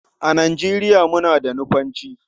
A Nigeriya muna da Nufanci.